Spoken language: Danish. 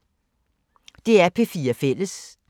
DR P4 Fælles